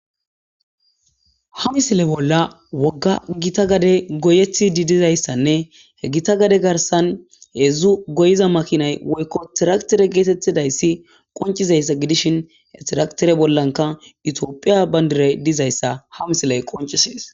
ha misile bolla wogga gita gade goyethi didizayssanne he gita gade garsan heedzzu goyiza makinay woykko tiraktere geetettidayssi qoncizayssa gidishin he tiraktere bollanka itiophiya bayndire dizayssa ha misiley qoncisees